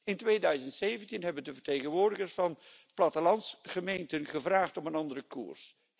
In 2017 hebben de vertegenwoordigers van plattelandsgemeenten gevraagd om een andere koers.